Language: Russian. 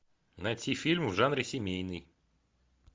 найти фильм в жанре семейный